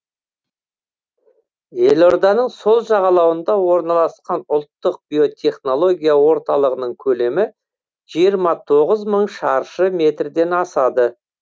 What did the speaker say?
елорданың сол жағалауында орналасқан ұлттық биотехнология орталығының көлемі жиырма тоғыз мың шаршы метрден асады